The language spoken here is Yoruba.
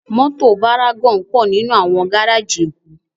Mòtó várágòn pò ninú áwòn gáráji Ekó